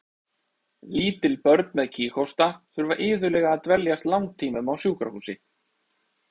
Lítil börn með kíghósta þurfa iðulega að dveljast langtímum á sjúkrahúsi.